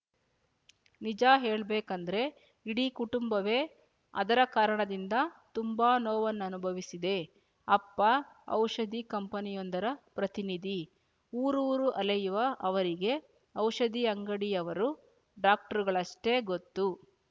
ನಿಜ ಹೇಳ್ಬೇಕಂದ್ರೆ ಇಡೀ ಕುಟುಂಬವೇ ಅದರ ಕಾರಣದಿಂದ ತುಂಬಾ ನೋವನ್ನನುಭವಿಸಿದೆ ಅಪ್ಪ ಔಷಧಿ ಕಂಪನಿಯೊಂದರ ಪ್ರತಿನಿಧಿ ಊರೂರು ಅಲೆಯುವ ಅವರಿಗೆ ಔಷಧಿ ಅಂಗಡಿಯವರೂ ಡಾಕ್ಟ್ರುಗಳಷ್ಟೇ ಗೊತ್ತು